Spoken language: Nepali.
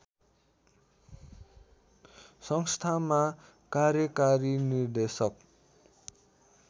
संस्थामा कार्यकारी निर्देशक